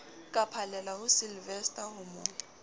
ka phallelaho sylvester ho mo